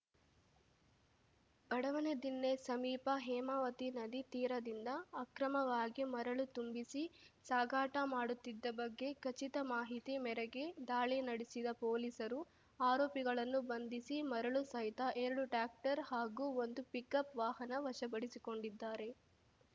ಬಡವನದಿಣ್ಣೆ ಸಮೀಪ ಹೇಮಾವತಿ ನದಿ ತೀರದಿಂದ ಅಕ್ರಮವಾಗಿ ಮರಳು ತುಂಬಿಸಿ ಸಾಗಾಟ ಮಾಡುತ್ತಿದ್ದ ಬಗ್ಗೆ ಖಚಿತ ಮಾಹಿತಿ ಮೇರೆಗೆ ದಾಳಿ ನಡೆಸಿದ ಪೊಲೀಸರು ಆರೋಪಿಗಳನ್ನು ಬಂಧಿಸಿ ಮರಳು ಸಹಿತ ಎರಡು ಟ್ರ್ಯಾಕ್ಟರ್‌ ಹಾಗೂ ಒಂದು ಪಿಕಪ್‌ ವಾಹನ ವಶಪಡಿಸಿಕೊಂಡಿದ್ದಾರೆ